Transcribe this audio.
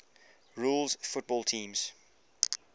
rules football teams